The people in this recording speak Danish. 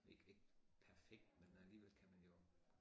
Ikke perfekt men alligevel kan man jo